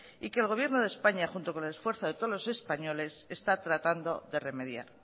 y que el gobierno de españa junto con el esfuerzo de todos los españoles está tratando de remediar